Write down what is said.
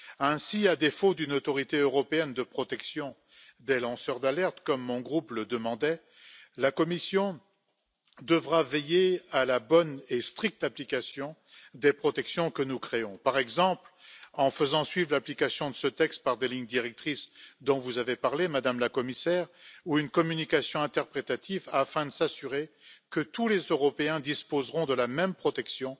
Ainsi, à défaut d'une autorité européenne de protection des lanceurs d'alerte, comme mon groupe le demandait, la Commission devra veiller à la bonne et stricte application des protections que nous créons, par exemple en faisant suivre l'application de ce texte par des lignes directrices dont vous avez parlé, Madame la Commissaire, ou par une communication interprétative afin de s'assurer que tous les Européens disposeront de la même protection